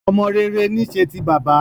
Ọmọ rere ní í ṣe ti bàbá